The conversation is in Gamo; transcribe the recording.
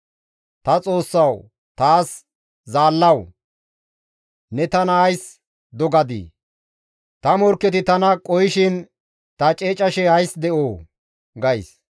Ta Xoossawu taas Zaallawu! «Ne tana ays dogadii? Ta morkketi tana qohishin ta ceecashe ays de7oo?» gays.